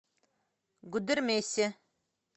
гудермесе